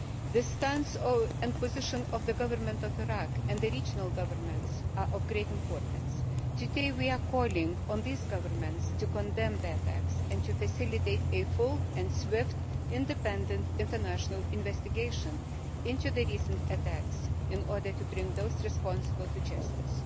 The stance and position of the Government of Iraq and the regional governments are of great importance. Today we are calling on these governments to condemn the attacks and to facilitate a full and swift independent international investigation into the recent attacks in order to bring those responsible to justice.